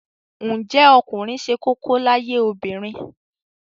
Ǹjẹ́ ọkùnrin ṣe kókó láyé obìnrin?